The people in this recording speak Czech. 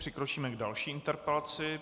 Přikročíme k další interpelaci.